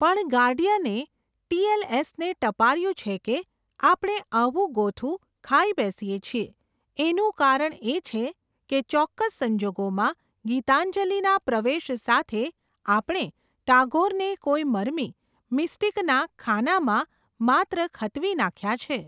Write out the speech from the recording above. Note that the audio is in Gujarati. પણ ગાર્ડિયને, ટીએલએસને ટપાર્યું છે કે, આપણે આવું ગોથું, ખાઈ બેસીયે છીયે, એનું કારણ એ છે, કે ચોક્કસ સંજોગોમાં, ગીતાંજલિ ના પ્રવેશ સાથે, આપણે, ટાગોરને કોઈ મરમી, મિસ્ટિકના, ખાનામાં, માત્ર ખતવી નાખ્યા છે.